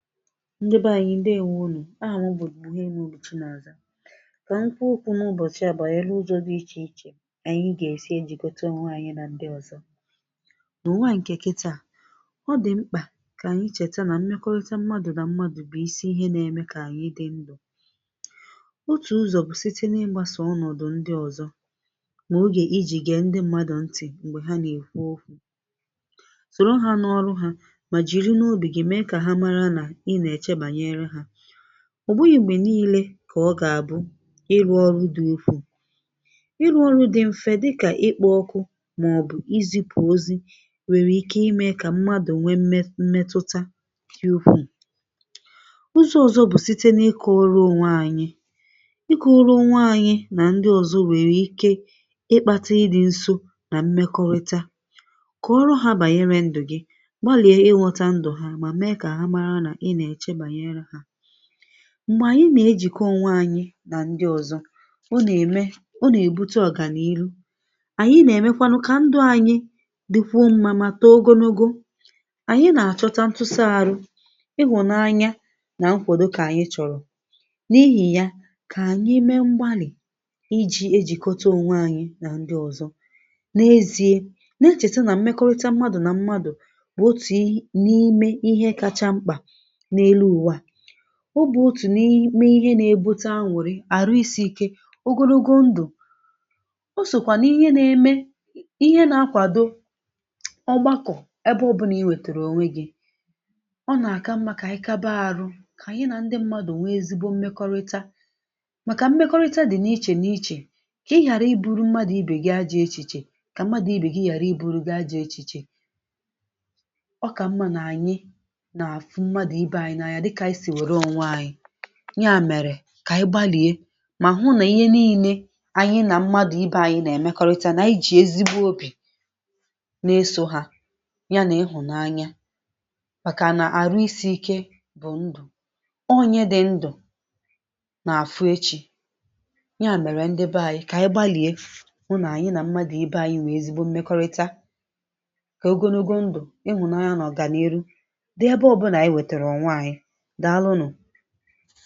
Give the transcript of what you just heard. ndị bà anyị̀ ndeèwȯ nù, àhà m bụ̀ buhiemaobi Chinàzà, kà m kwùo ùkwù̇ n’ụbọ̀chị̀ à bàànyere ụzọ̇ dị ichè ichè à anyị gà-èsi ejìkòtà onwe anyị̇ nà ndị ọ̀zọ, nà ùwà ǹkè kịtà, ọ dị̀ mkpà kà anyị chèta nà mmekọ̀rịtè mmadụ̀ nà mmadụ̀ bụ̀ isi ihe n’èmè kà anyị dị ndụ̀, òtù ụzọ̀ bụ̀ sàịtè nà ịgbàsà ọnọ̀dụ̀ ndị ọ̀zọ, mà ògé ijì gée ndị mmadụ̀ ntị̀ m̀gbè ha nà-èkwù òkwù, sòrọ̀ hà n’àrụ̀ hà, mà jìrì n’òbì gị̇ mée kà hà màrà nà í nà-èchè banyere hà, ọ̀ bụghị̇ m̀gbè niilē kà ọ gà-àbụ̄ ịrụ̇ ọrụ̇ dị̇ ukwuù, ịrụ̇ ọrụ̇ dị̇ mfe dịkà ịkpọ̇ ọkụ̇ màọbụ̀ izìpù ozi wèrè ike ímè kà mmadụ̀ nwee mmetụta dị ukwuù, ụzọ̇ ọzọ̇ bụ̀ sàịtè n’ịkọ̇rọ̀ ònwe anyị̇, ịkọ̇rọ̇ onwe anyị̇ nà ndị ọzọ̇ nwèrè ike ịkpàtà ị dị̇ nso nà mmekọ̀rịta, kọọrụ hà bànyere ndụ̀ gị̇, gbalìe ighòtà ndụ̀ hà, mà mée kà hà màrà nà í nà-èchè banyere hà, m̀gbè ànyị nà-ejìkòtà onwe anyị̇ nà ndị ọ̀zọ, ọ nà-èmè, ọ nà-èbùtà ọ̀gà n’ilū, ànyị nà-èmekwanụ kà ndụ̇ anyị dị̀kwuo mmȧ mà tóò ogologo, ànyị nà-àchọ̇tà ntụ́sà-àrụ̀, ịhụ̀nànya nà nkwòdo kà ànyị chọ̀rọ̀, n’ìhì ya, kà ànyị mée mgbàlị̀ ịjì ejìkòtà onwe anyị̇ nà ndị ọ̀zọ n’eziè, nà-echètè nà mmekọ̀rịta mmadụ̀ nà mmadụ̀ bụ̀ òtù ǹkè n’ime ihe kacha mkpà n’élú ùwà a, ọ̀ bụ̀ òtù ǹkè n’ime ihe nà-èbùtà ànụ̀rị̀, àrụ̇ isi̇-ike, ògòlógò ndụ̀, ò sòkwà n’ihe nà-èmè ihe nà-akwàdo ǹkè ọgbàkọ̀ ebe ọbụlà í nwètèrè ònwe gị̇, ọ nà-àkà mmȧ kà ànyị kàbà àrụ̇ kà ànyị nà ndị mmadụ̀ nwee ezigbo mmekọ̀rịta, màkà mmekọ̀rịta dị̀ n’ìchè n’ìchè kà ighàrā íbù̇rụ̀ mmadụ̀-ìbè gị ajà-èchìchè, kà mmadụ̀-ìbè gị ighàrā íbù̇rụ̀ gị ajà-èchìchè [paues] ọ̀ kà mmȧ nà ànyị nà-afụ̀ mmadụ̀-ìbè anyị̇ n’ànya dịkà ànyị sìrì nwèrè ònwe anyị̇, yà mèrè kà í gbalìe mà hụ̀ nà ihe niilē ànyị nà mmadụ̀-ìbè anyị̇ nà-èmèkọ̀rịta, nà ànyị jì ezi òbì n’èsò hà yà nà ịhụ̀nànya, màkà nà àrụ̇ isi̇-ike bụ̀ ndụ̀, ọ̀nyè dị̇ ndụ̀ [paues] nà-àfụ̀ èchí, yà mèrè, ndị bè anyị̀, kà ànyị gbalìe hụ̀ nà ànyị nà mmadụ̀-ìbè anyị̇ nwèe ezigbo mmekọ̀rịta, kà ògòlógò ndụ̀, ịhụ̀nànya nà ọ̀gànílù dị ebe ọbụnà ànyị wètèrà ònwe anyị̇, dààlụ̀ nù̀.